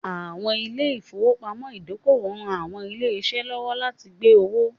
Àwọn ilé ìfowópamọ́ ìdókòwò ń ran àwọn ilé-iṣẹ́ lọ́wọ́ láti gbé owó